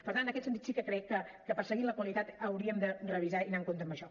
per tant en aquest sentit sí que crec que perseguint la qualitat hauríem de revisar i anar amb compte amb això